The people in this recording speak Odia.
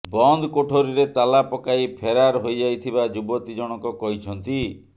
ବନ୍ଦ କୋଠରୀରେ ତାଲା ପକାଇ ଫେରାର ହୋଇଯାଇଥିବା ଯୁବତୀ ଜଣଙ୍କ କହିଛନ୍ତି